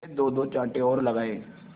से दोदो चांटे और लगाए